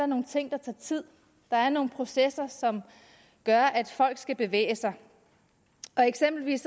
nogle ting der tager tid der er nogle processer som gør at folk skal bevæge sig eksempelvis